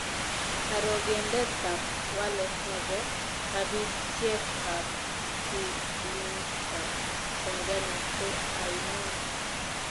Karogendetap walet ne po rabisyekap silingiitap tanzania ko ainon